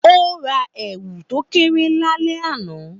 Ó ra èwù tó kéré lálẹ́ àná